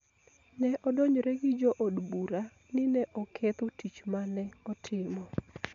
ne odonjre gi jo od bura ni ne oketho tich ma ne otimo.